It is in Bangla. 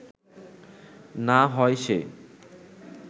না হয় সে